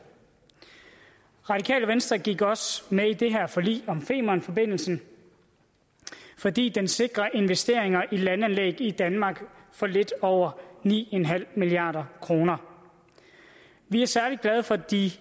radikale venstre gik også med i det her forlig om femernforbindelsen fordi den sikrer investeringer i landanlæg i danmark for lidt over ni milliard kroner vi er særlig glade for de